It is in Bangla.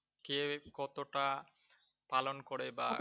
কে কতটা পালন করে বা